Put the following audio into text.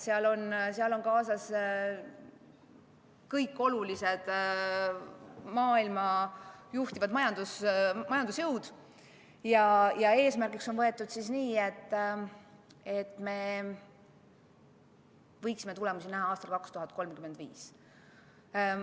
Sellesse on kaasatud kõik olulised, maailma juhtivad majandusjõud ja eesmärgiks on võetud see, et me võiksime tulemusi näha aastal 2035.